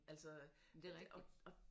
Men det er rigtigt